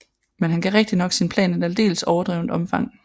Men han gav rigtignok sin plan et aldeles overdrevent omfang